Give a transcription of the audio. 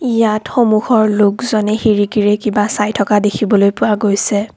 ইয়াত সন্মুখৰ লোকজনে খিৰিকীৰে কিবা চাই থকা দেখিবলৈ পোৱা গৈছে।